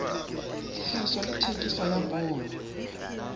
tlhahiso le thekiso ya poone